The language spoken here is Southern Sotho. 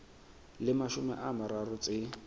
le mashome a mararo tse